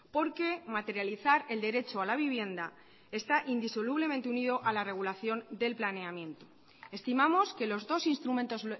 porque materializar el derecho a la vivienda está indisolublemente unido a la regulación del planeamiento estimamos que los dos instrumentos